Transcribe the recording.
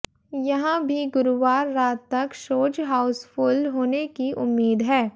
यहां भी गुरुवार रात तक शोज हाउसफुल होने की उम्मीद है